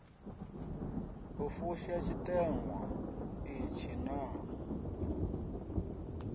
u fusha tshiteṅwa itshi naa